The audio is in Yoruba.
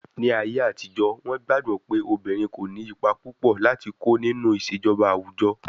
Ní ayé àtijó, wọ́n gbàgbọ́ pé obìnrin kò ní ipa púpò láti kó nínú ìṣèjọba àwùjọ.